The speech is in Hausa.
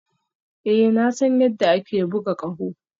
Ee na san yadda ake buga ƙaho